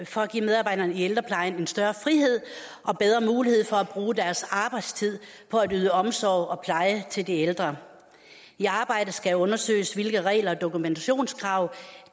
for at give medarbejderne i ældreplejen en større frihed og bedre mulighed for at bruge deres arbejdstid på at yde omsorg og pleje til de ældre i arbejdet skal undersøges hvilke regler og dokumentationskrav